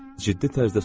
Ciddi tərzdə soruşdu.